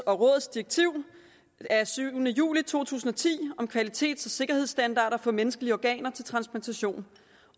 og rådets direktiv af syvende juli to tusind og ti om kvalitets og sikkerhedsstandarder for menneskelige organer til transplantation